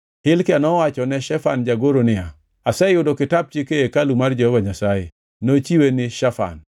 Hilkia nowachone Shafan jagoro niya, “Aseyudo Kitap Chik ei hekalu mar Jehova Nyasaye.” Nochiwe ni Shafan.